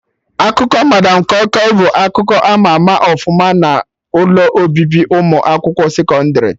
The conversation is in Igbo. Akụkọ madam kọi kọi bụ akụkọ ama ama ọfụma n'ụlọ obibi ụmụ akwụkwọ sekọndrị